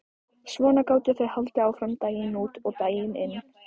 Svona gátu þau haldið áfram daginn út og daginn inn.